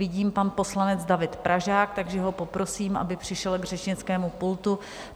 Vidím, pan poslanec David Pražák, takže ho poprosím, aby přišel k řečnickému pultu.